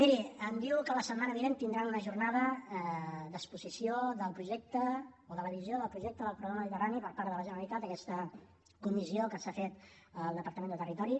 miri em diu que la setmana vinent tindran una jornada d’exposició del projecte o de la visió del projecte del corredor mediterrani per part de la generalitat aquesta comissió que s’ha fet al departament de territori